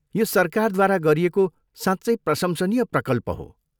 यो सरकारद्वारा गरिएको साँच्चै प्रशंसनीय प्रकल्प हो।